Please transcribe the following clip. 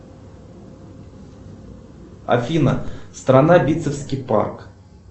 афина страна битцевский парк